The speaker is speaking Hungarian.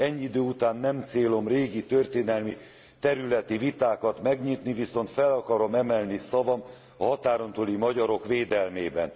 Ennyi idő után nem célom régi történelmi területi vitákat megnyitni, viszont fel akarom emelni szavam a határon túli magyarok védelmében.